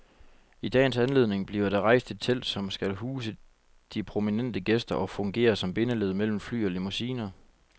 I dagens anledning bliver der rejst et telt, som skal huse de prominente gæster og fungere som bindeled mellem fly og limousiner.